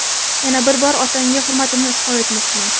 Yana bir bor otangga hurmatimni izhor etmoqchiman.